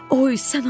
Oy, sən Allah!